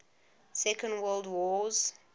second world wars